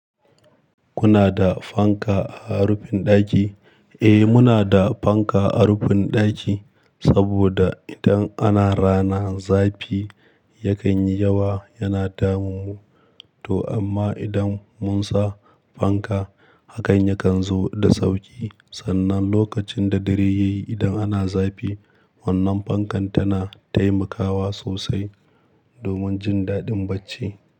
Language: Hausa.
Kuna da fanka a rufin ɗaki? Eh, muna da fanka a rufin ɗaki saboda idan ana rana zafi yakan yi yawa yana damun mu, to amma idan mun sa fanka hakan yakan zo da sauƙi. Sannan lokacin da dare yayi idan ana zafi wannan fankan tana taimakawa sosai domin jin daɗin bacci.